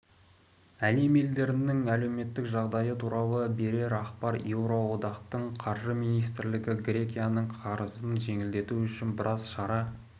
әлем елдерінің әлеуметтік жағдайы туралы бірер ақпар еуроодақтың қаржы министрлері грекияның қарызын жеңілдету үшін біраз шара